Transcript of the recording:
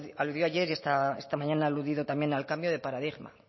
aludió ayer y esta mañana ha aludido también al cambio de paradigma